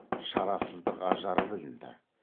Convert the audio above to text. шарасыздық ажары білінді